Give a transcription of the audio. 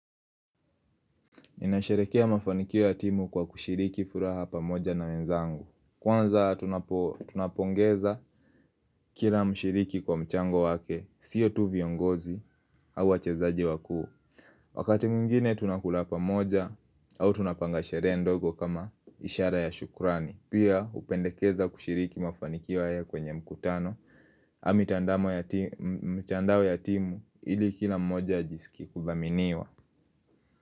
Ninasherehekea mafanikio ya timu kwa kushiriki furaha pamoja na wenzangu. Kwanza, tunapongeza kila mshiriki kwa mchango wake, siyo tu viongozi au wachezaji wakuu. Wakati mwingine tunakula pamoja au tunapanga sherehe ndogo kama ishara ya shukrani. Pia, tunapendekeza kushiriki mafanikio kwenye mikutano na mitandao ya timu ili kila mmoja ajisikie kuthaminiwa.